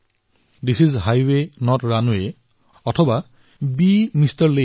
this is highway not runway অথবা বে এমআৰ